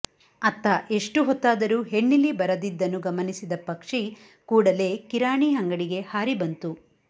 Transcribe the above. ಅತ್ತ ಎಷ್ಟು ಹೊತ್ತಾದರೂ ಹೆಣ್ಣಿಲಿ ಬರದಿದ್ದನ್ನು ಗಮನಿಸಿದ ಪಕ್ಷಿ ಕೂಡಲೇ ಕಿರಾಣಿ ಅಂಗಡಿಗೆ ಹಾರಿ ಬಂತು